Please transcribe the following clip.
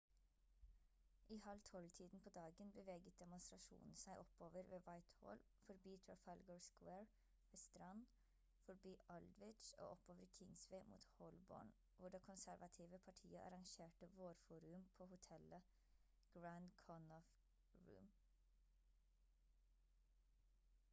i halv tolv-tiden på dagen beveget demonstrasjonen seg oppover ved whitehall forbi trafalgar square ved strand forbi aldwych og oppover kingsway mot holborn hvor det konservative partiet arrangerte vårforum på hotellet grand connaught rooms